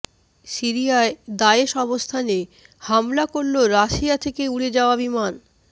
সিরিয়ায় দায়েশ অবস্থানে হামলা করল রাশিয়া থেকে উড়ে যাওয়া বিমান